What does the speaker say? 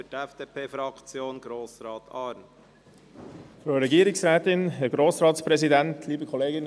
Für die FDP-Fraktion hat Grossrat Arn das Wort.